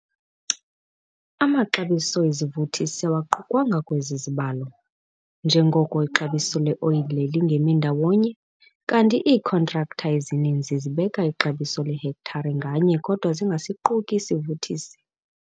Amaxabiso ezivuthisi AWAQUKWANGA kwezi zibalo, njengoko ixabiso leoyile lingemi ndawonye kanti iikhontraktha ezininzi zibeka ixabiso ngehektare nganye kodwa zingasiquki isivuthisi.